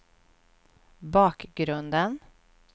bakgrunden